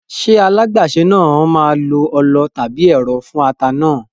Ṣé alágbàsè náà máa lo ọlọ tàbí ẹ̀rọ fún ata náà?